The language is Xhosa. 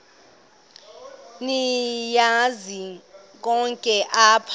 niyazi nonk apha